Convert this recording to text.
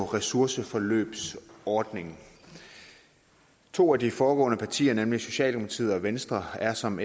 ressourceforløbsordningen to af de foregående partier nemlig socialdemokratiet og venstre er som